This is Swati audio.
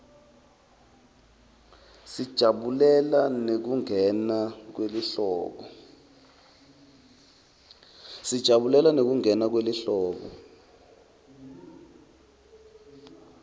sijabulela nekungena kwelihlobo